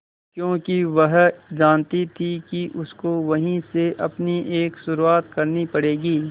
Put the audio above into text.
क्योंकि वह जानती थी कि उसको वहीं से अपनी एक शुरुआत करनी पड़ेगी